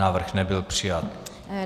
Návrh nebyl přijat.